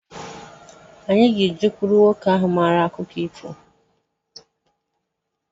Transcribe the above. Anyi ga-ejekuru nwoke ahụ mara akụkọ ifo